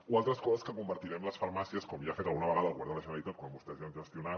o altres coses que convertirem les farmàcies com ja ha fet alguna vegada el govern de la generalitat quan vostès han gestionat